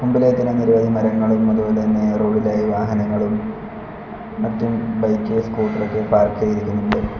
മുമ്പിലെ തന്നെ നിരവധി മരങ്ങളും അതുപോലെ തന്നെ റോഡ് ഇലായി വാഹനങ്ങളും മറ്റും ബൈക്ക് സ്കൂട്ടർ ഒക്കെ പാർക്ക് ചെയ്തിരിക്കുന്നുണ്ട്.